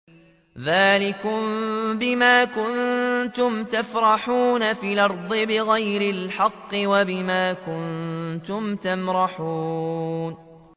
ذَٰلِكُم بِمَا كُنتُمْ تَفْرَحُونَ فِي الْأَرْضِ بِغَيْرِ الْحَقِّ وَبِمَا كُنتُمْ تَمْرَحُونَ